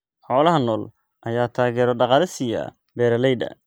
Xoolaha nool ayaa taageero dhaqaale siiya beeralayda.